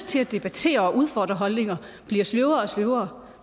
til at debattere og udfordre holdninger bliver sløvere og sløvere